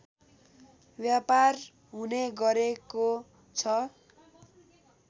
व्यापार हुने गरेको छ